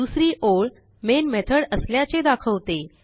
दुसरी ओळ main method असल्याचे दाखवते